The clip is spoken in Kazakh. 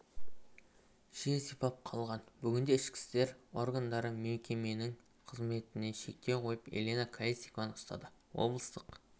жер сипап қалған бүгінде ішкі істер органдары мекеменің қызметіне шектеу қойып елена колесникованы ұстады облыстық